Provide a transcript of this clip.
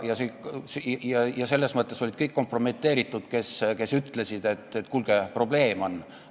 Selles mõttes olid kompromiteeritud kõik, kes ütlesid, et kuulge, probleem on olemas.